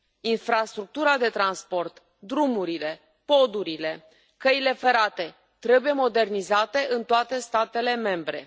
Infrastructura de transport, drumurile, podurile, căile ferate trebuie modernizate în toate statele membre.